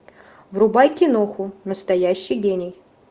врубай киноху настоящий гений